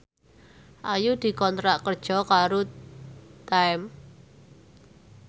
Ayu dikontrak kerja karo Time